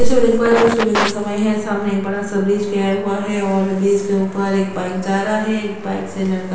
ऐसे मैंने एक बार यु सुबह का समय है सामने एक बड़ा सा ब्रिज गया हुआ है और ब्रिज के ऊपर एक बाइक जा रहा है एक बाइक से लड़का--